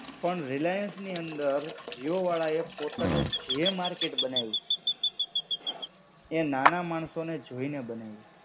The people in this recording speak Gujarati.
પણ રિલાયન્સ ની અંદર, જીઓ વાળાએ પોતાનું જે માર્કેટ બનાવ્યું, એ નાના માણસો ને જોઈને બનાવ્યું.